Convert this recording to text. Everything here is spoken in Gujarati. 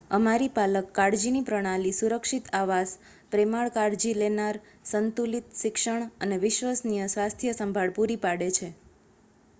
અમારી પાલક કાળજીની પ્રણાલી સુરક્ષિત આવાસ પ્રેમાળ કાળજી લેનાર સંતુલિત શિક્ષણ અને વિશ્વસનીય સ્વાસ્થ્ય સંભાળ પૂરી પાડે છે